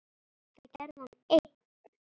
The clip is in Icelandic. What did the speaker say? Þetta gerði hann einn.